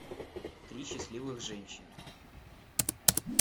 три счастливых женщины